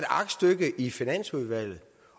aktstykke i finansudvalget